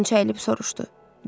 Faytonçu əyilib soruşdu.